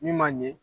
Min ma ɲɛ